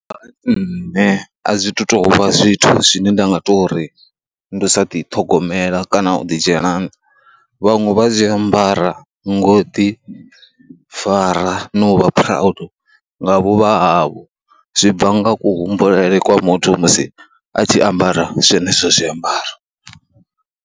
Hai nṋe a zwi thu tou vha zwithu zwine nda nga tou ri ndi u sa ḓithogomela kana u ḓi dzhena, vhaṅwe vha zwi ambara ngo ḓifara na u vha proid nga vhuvha havho, zwi bva nga kuhumbulele kwa muthu musi a tshi ambara zwenezwo zwiambaro.